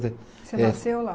Você nasceu lá?